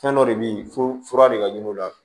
Fɛn dɔ de bɛ yen f'o fura de ka ɲini o la